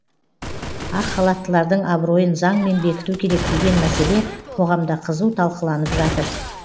ақ халаттылардың абыройын заңмен бекіту керек деген мәселе қоғамда қызу талқыланып жатыр